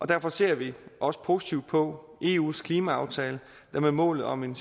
derfor ser vi også positivt på eus klimaaftale der med målet om en